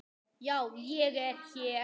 Já, ég er hér.